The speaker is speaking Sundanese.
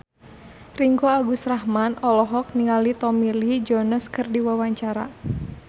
Ringgo Agus Rahman olohok ningali Tommy Lee Jones keur diwawancara